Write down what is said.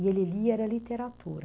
E ele lia, era literatura.